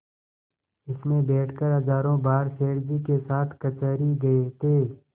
इसमें बैठकर हजारों बार सेठ जी के साथ कचहरी गये थे